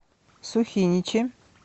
сухиничи